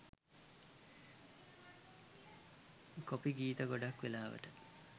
copy ගීත ගොඩක් වෙලාවට